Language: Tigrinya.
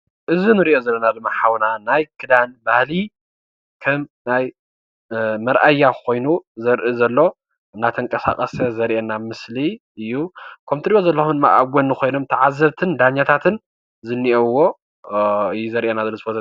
እዚ እንሪኦ ዘለና ድማ ሓውና ናይ ክዳን ባህሊ ክዳን ከም መርኣያ ኮይኑ ዘርኢ ዘሎ እንዳተንቀሳቀሰ ዘርእየና ምስሊ እዩ:: ከም እትሪእዎም ዘለኩም ተዓዘብትን ዳያኛታት ዝኒሀውዎ እዩ ዘርእየና ዘሎ እዚ ፎቶ፡፡